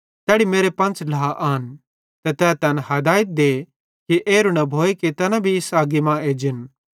तैड़ी मेरे पंच़ ढ्ला आन ते तै तैन हदायत दे कि एरू न भोए ते तैना भी इस अग्गी मां एजन